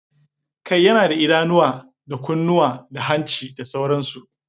Kai yana da idanuwa, da kunnuwa, da hanci da sauransu